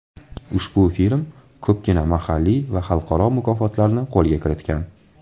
Ushbu film ko‘pgina mahalliy va xalqaro mukofotlarni qo‘lga kiritgan.